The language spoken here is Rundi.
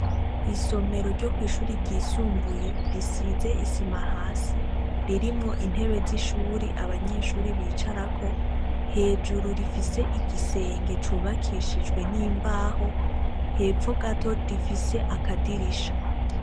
Isomero ryo kwishure ryisumbuye risize isima hasi ririmwo intebe zishuri abanyeshure bicarako hejuru rifise igisenge cubakishijwe nimbaho hepfo gato gifise akadirisha